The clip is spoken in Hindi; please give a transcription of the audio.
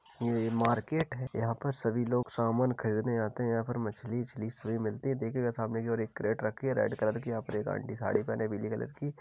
ये मार्केट है यहां पर सभी लोग सामान खरीदने आते हैं यहां पर मछली ओछली सभी मिलती हैं देख रहे हो सामने की ओर एक कैरेट रखी है रेड कलर की यहाँ पर एक आंटी साड़ी पहने पीली कलर की --